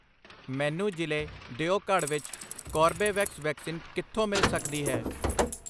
ਮੈਨੂੰ ਜ਼ਿਲੇ ਦਿਓਘੜ ਵਿੱਚ ਕੋਰਬੇਵੈਕਸ ਵੈਕਸੀਨ ਕਿੱਥੋਂ ਮਿਲ ਸਕਦੀ ਹੈ?